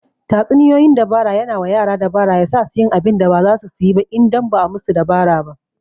Tatsuniyoyin dabara yana wa yara dabara ya sasu yin abinda ba zasu suyi ba indan ba'a musu dabara ba